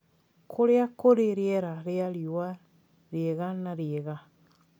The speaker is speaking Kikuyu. Kũrĩa kũrĩ rĩera rĩa riũa rĩega na rĩega